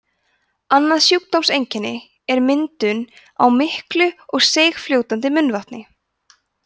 annað sjúkdómseinkenni er myndun á miklu og seigfljótandi munnvatni